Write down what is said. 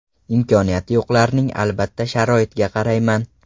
Imkoniyati yo‘qlarning albatta, sharoitiga qarayman.